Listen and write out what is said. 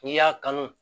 N'i y'a kanu